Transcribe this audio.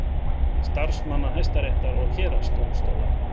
Starfsmanna Hæstaréttar og héraðsdómstóla.